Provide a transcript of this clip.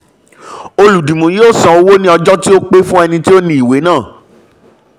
olùdìmú yóó san owó ní ọjọ́ tó pé fún ẹni tí ó ní ìwé náà.